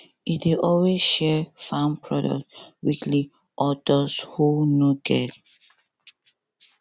e dey always share farm produce weekly or dose who no get